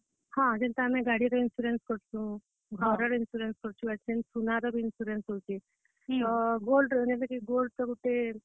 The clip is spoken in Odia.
ହଁ, ଯେନ୍ତା ଆମେ ଗାଡିର insurance କରସୁଁ, ଘରର insurance କରସୁଁ, ଆଜି କାଲି ସୁନାର ବି insurance ହେଉଛେ, ତ gold , ମାନେ gold ।